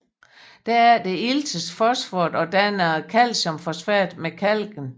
Derefter iltes fosforet og danner calciumfosfat med kalken